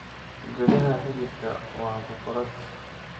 Gudaha xididka waa boqorad.